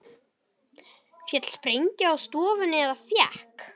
Féll sprengja á stofuna eða fékk